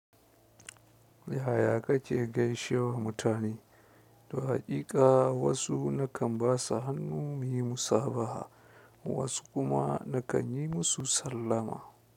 Yaha ka ce gaishe wa mutane? To haƙiƙa wasu na kan ba su hannu muyi musahabaha, wasu kuma na kan yi musu sallama.